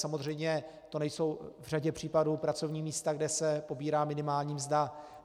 Samozřejmě to nejsou v řadě případů pracovní místa, kde se pobírá minimální mzda.